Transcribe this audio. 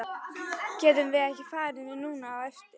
Getum við ekki farið núna á eftir?